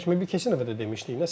Biz keçən dəfə də demişdik.